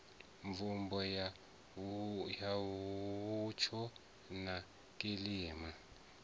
mvumbo ya mutsho na kilima